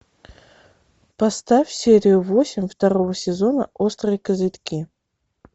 поставь серию восемь второго сезона острые козырьки